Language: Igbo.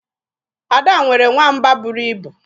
Ada nwere nwamba buru ibu.